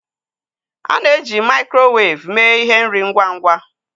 A na-eji maịkrowev mee ihe nri ngwa ngwa